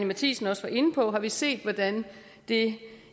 matthiesen også var inde på har vi set hvordan det